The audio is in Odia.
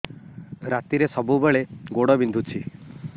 ରାତିରେ ସବୁବେଳେ ଗୋଡ ବିନ୍ଧୁଛି